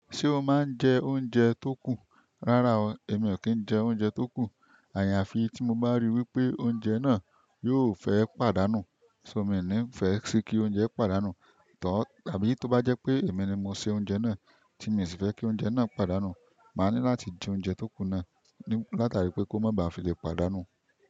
Ṣé o máa ń jẹ oúnjẹ tó kù? Rárá o, èmi ò kí ń jẹ oúnjẹ tó kù. Àyàfi tí mo bá ríi wípé ounjẹ̀ náà yóò fẹ́ pàdánù. So mí ò ní fẹ́ si kí oúnjẹ pàdánù. Tàbí tó bá jẹ́ pé èmi ni mo se oúnjẹ náà tí mi sì fẹ́ kí oúnjẹ náà padànu, màá ní láti jẹ oúnjẹ tó kù náà. Láti àrí pé kó má ba à fi lè pàdànu.